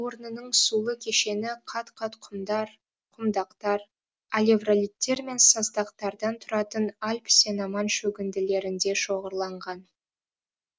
орнының сулы кешені қат қат құмдар құмдақтар алевролиттер мен саздақтардан тұратын альб сеноман шөгінділерінде шоғырланған